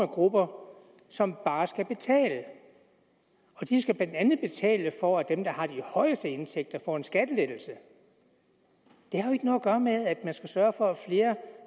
grupper som bare skal betale og de skal blandt andet betale for at dem der har de højeste indtægter får en skattelettelse det har jo ikke noget at gøre med at man skal sørge for at flere